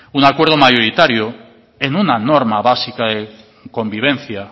un acuerdo mayoritario en una norma básica de convivencia